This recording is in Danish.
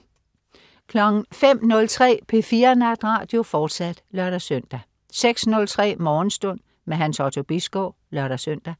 05.03 P4 Natradio, fortsat (lør-søn) 06.03 Morgenstund. Hans Otto Bisgaard (lør-søn)